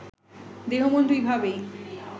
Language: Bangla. দেহ-মন দুইভাবেই